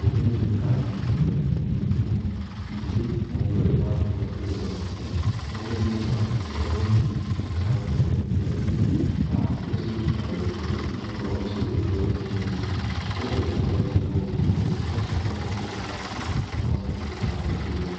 Ũkĩ nĩ ũgĩtuĩkaga nĩ ũhonagia mĩrimũ mĩingĩ mũno, ningĩ mũndũ rĩrĩa wakĩgũra kĩndũ ta mũgate, mũndũ nĩ ũndũ wa gũgĩkorwo hihi ũtegũkĩenda gũkorwo ũkĩrĩa indo ta irĩa cigĩĩtaagwo thiagĩ, nĩ gũkorwo nĩ ciongagĩrĩra ũrĩtũ mwĩrĩ-inĩ, mũndũ athiaga ũgagĩetha ũkĩ ta ũyũ, ũgakĩhaka mũgate ũcio waku na ũgagĩtuĩka wa gũkĩrĩa.